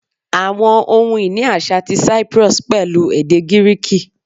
Awọn ohun-ini aṣa ti Cyprus pẹlu ede Giriki